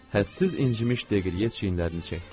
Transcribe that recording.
Həddsiz incimiş de qrye çiyinlərini çəkdi.